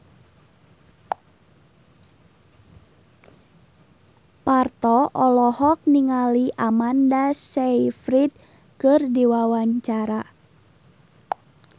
Parto olohok ningali Amanda Sayfried keur diwawancara